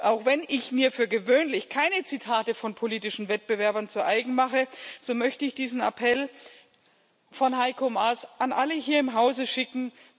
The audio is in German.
Auch wenn ich mir für gewöhnlich keine Zitate von politischen Wettbewerbern zu eigen mache, so möchte ich diesen Appell von Heiko Maas an alle hier im Hause schicken.